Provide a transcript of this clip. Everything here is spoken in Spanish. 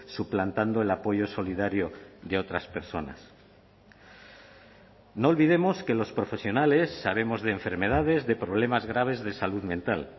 suplantando el apoyo solidario de otras personas no olvidemos que los profesionales sabemos de enfermedades de problemas graves de salud mental